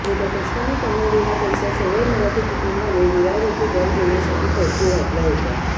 मोठ्या कष्टाने कमावलेला पैसा सदर मराठी कुटुंबाने विरार येथे घर घेण्यासाठी खर्ची घातला होता